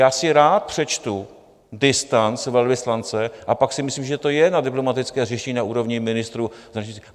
Já si rád přečtu distanc velvyslance, a pak si myslím, že to je na diplomatické řešení na úrovni ministrů.